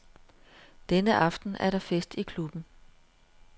Denne aften er der fest i klubben.